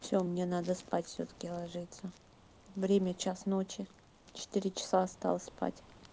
всё мне надо спать всё-таки ложиться время час ночи четыре часа осталось спать